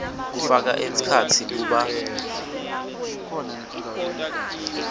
kufaka ekhatsi kuba